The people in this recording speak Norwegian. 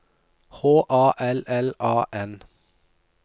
H A L L A N